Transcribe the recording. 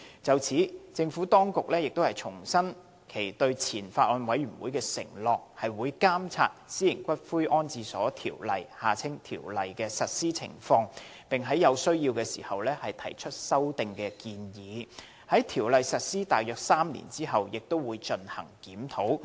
就此，政府當局亦重申其對前法案委員會的承諾，即會監察《私營骨灰安置所條例》的實施情況，並在有需要時提出修訂建議，而在《條例》實施約3年後也會進行檢討。